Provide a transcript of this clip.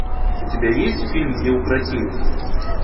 у тебя есть фильм неукротимый